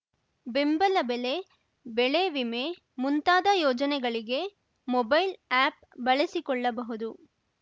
ಬೆಂಬಲ ಬೆಲೆ ಬೆಳೆ ವಿಮೆ ಮುಂತಾದ ಯೋಜನೆಗಳಿಗೆ ಮೊಬೈಲ್‌ ಆ್ಯಪ್‌ ಬಳಸಿಕೊಳ್ಳಬಹುದು